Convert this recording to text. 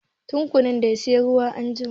Tukunna dai, sai zuwa a jima.